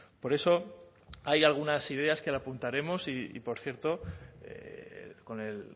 por eso hay algunas ideas que le apuntaremos y por cierto con el